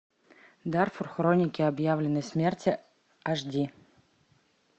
дарфур хроники объявленной смерти аш ди